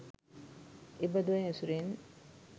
එබදු අය ඇසුරෙන්